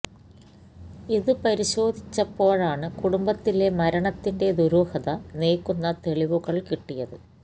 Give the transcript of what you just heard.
ഇത് പരിശോധിച്ചപ്പോഴാണ് കുടുംബത്തിലെ മരണത്തിന്റെ ദൂരുഹത നീക്കുന്ന തെളിവുകള് കിട്ടിയത്